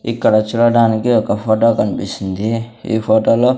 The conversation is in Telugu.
ఇక్కడ చూడడానికి ఒక ఫొటో కన్పిస్తుంది ఈ ఫోటోలో --